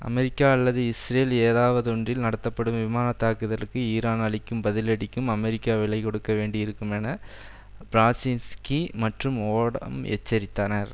America அல்லது Israel ஏதாவதொன்றில் நடத்தப்படும் விமான தாக்குதலுக்கு ஈரான் அளிக்கும் பதிலடிகளுக்கும் அமெரிக்கா விலை கொடுக்க வேண்டி இருக்கும் என பிராசின்ஸ்கி மற்றும் ஓடம் எச்சரித்தனர்